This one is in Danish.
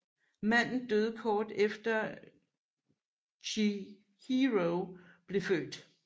Manden døde kort efter Chihiro blev født